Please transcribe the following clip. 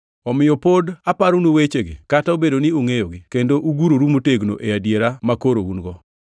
Omiyo pod aparonu wechegi, kata obedo ni ungʼeyogi kendo uguroru motegno e adiera makoro un-go.